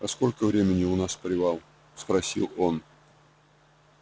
а сколько времени у нас привал спросил он